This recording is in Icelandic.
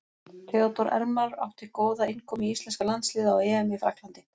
Theodór Elmar átti góða innkomu í íslenska landsliðið á EM í Frakklandi.